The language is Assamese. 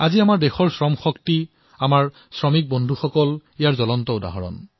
আজি আমাৰ দেশৰ যি শ্ৰমশক্তি আছে যি শ্ৰমিক সতীৰ্থ আছে তেওঁলোকেই হল ইয়াৰ জীৱন্ত উদাহৰণ